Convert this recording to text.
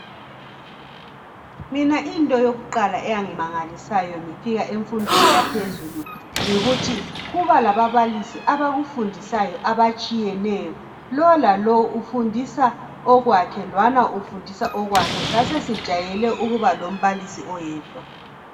Mina into yokuqala eyangimangalisayo ngifika emfundweni yaphezulu yikuthi kuba lababalisi abakufundisayo okutshiyeneyo. Lo lolowo ufundisa okwakhe lwana ufundisa okwakhe, sasesijayele ukuba lombalisi oyedwa.